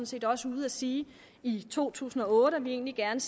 set også ude at sige i to tusind og otte at vi egentlig gerne